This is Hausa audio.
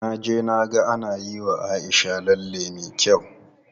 Na je na ga ana yiwa Aisha lalle me kyau.